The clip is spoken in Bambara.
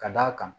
Ka d'a kan